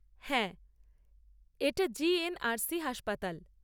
হ্যাঁ, এটা জি.এন.আর.সি হাসপাতাল।